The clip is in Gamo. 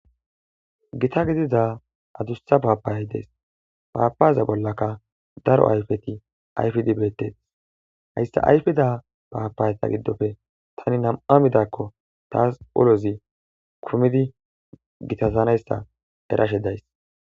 Gita gidida adussa paapaayy dees paapaza bollaka daro ayfeti ayfidi beettees hayssa ayfida paapayeta giddofe tani nam'a midakko taas lo'izi kumidi gitazanayssa erashe days.